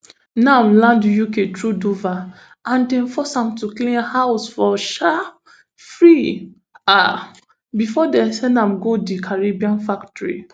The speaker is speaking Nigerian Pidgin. nam land uk through dover and dem force am to clean house for um free um before dem send am go di cannabis factory